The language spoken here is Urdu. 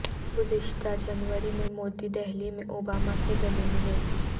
گذشتہ جنوری میں مودے دہلی میں اوباما سے گلے ملے